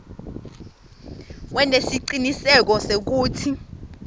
wente siciniseko sekutsi